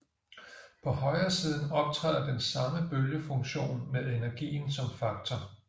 På højresiden optræder den samme bølgefunktion med energien som faktor